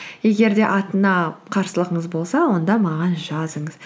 егер де атына қарсылығыңыз болса онда маған жазыңыз